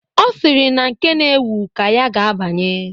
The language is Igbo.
Ọ sịrị na nke na-ewu ka ya ga-abanye.